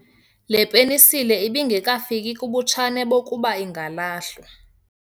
Le penisile ibingekafiki kubutshane bokuba ingalahlwa.